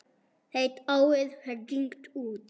Heyrt árið hringt út.